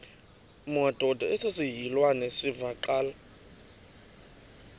madod asesihialweni sivaqal